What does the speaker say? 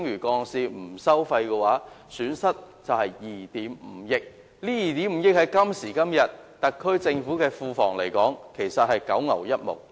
今時今日 ，2 億 5,000 萬元對特區政府的庫房只是九牛一毛。